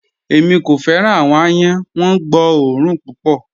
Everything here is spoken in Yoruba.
Ẹ̀mí kò fẹ́ran awọn àyán, wọ́n gbọ́ ọ̀orun púpọ̀.